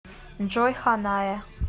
джой ханае